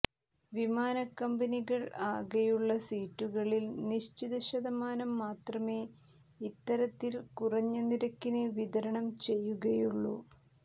വിമാനക്കമ്പനികൾ ആകെയുളള സീറ്റുകളിൽ നിശ്ചിത ശതമാനം മാത്രമേ ഇത്തരത്തിൽ കുറഞ്ഞനിരക്കിന് വിതരണം ചെയ്യുകയുള്ളൂ